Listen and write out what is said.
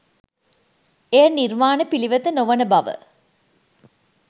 එය නිර්වාණ පිළිවෙත නොවන බව